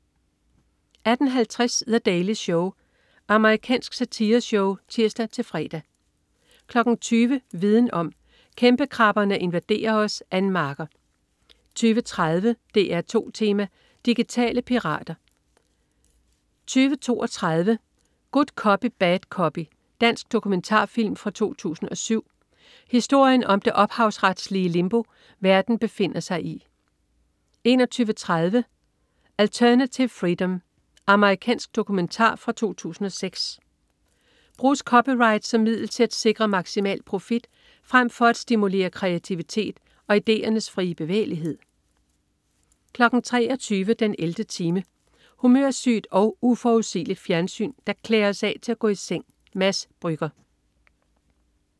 18.50 The Daily Show. Amerikansk satireshow (tirs-fre) 20.00 Viden om: Kæmpekrabberne invaderer os. Ann Marker 20.30 DR2 Tema: Digitale pirater 20.32 Good Copy Bad Copy. Dansk dokumentarfilm fra 2007. Historien om det ophavsretlige limbo, verden befinder sig i 21.30 Alternative freedom. Amerikansk dokumentar fra 2006. Bruges copyright som middel til at sikre maksimal profit frem for at stimulere kreativitet og ideernes frie bevægelighed 23.00 den 11. time. Humørsygt og uforudsigeligt fjernsyn, der klæder os af til at gå i seng. Mads Brügger